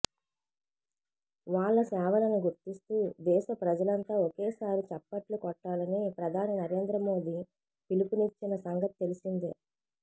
వాళ్ల సేవలను గుర్తిస్తూ దేశ ప్రజలంతా ఒకేసారి చప్పట్లు కొట్టాలని ప్రధాని నరేంద్ర మోదీ పిలుపు నిచ్చిన సంగతి తెలిసిందే